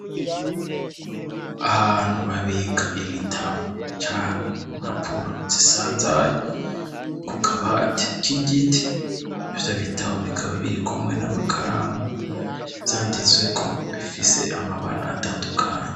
Abantu babiga ibitabo canke mpapuro zisanzaye ku kabati k igiti ivyo bitabo bikaba biri kumwe n'amakaramu vyanditsweko bifise amabara atandukanye.